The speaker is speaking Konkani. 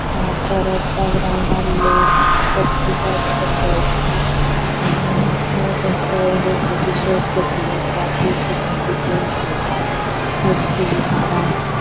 अ परत या ग्रॉउंडार लोक जोमलीले असा थे खेळटा अ शर्ट घातलेले असा थे कंचे तारी गेम खेळटा झाड़ा असा.